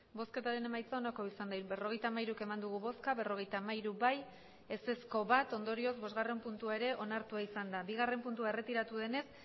emandako botoak berrogeita hamairu bai berrogeita hamairu ez bat ondorioz bosgarren puntua ere onartua izan da bigarren puntua erretiratua denez